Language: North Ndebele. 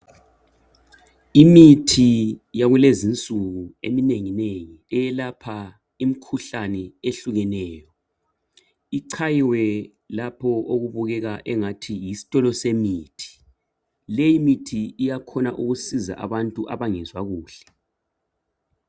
Imithi yakulezi insuku eminenginengi eyelapha imikhuhlane ehlukeneyo, ichayiwe lapho okubukeka engathi yisitolo semithi. Leyimithi iyakhona ukusiza abantu abangezwa kuhle.